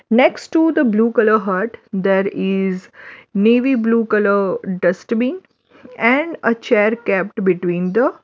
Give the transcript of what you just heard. next to the blue colour hut there is navy blue colour dustbin and a chair kept between the --